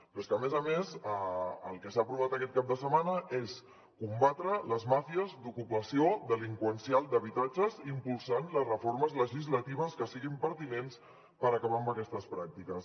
però és que a més a més el que s’ha aprovat aquest cap de setmana és combatre les màfies d’ocupació delinqüencial d’habitatges impulsant les reformes legislatives que siguin pertinents per acabar amb aquestes pràctiques